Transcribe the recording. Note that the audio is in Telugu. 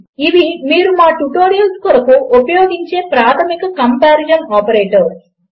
ఇవి మీరు మా ట్యుటోరియల్స్ కొరకు ఉపయోగించే ప్రాధమిక కంపారిజన్ ఆపరేటర్స్